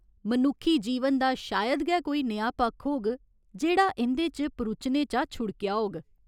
मनुक्खी जीवन दा शायद गै कोई नेहा पक्ख होग जेह्ड़ा इं'दे च परुचने शा छुड़केआ होग।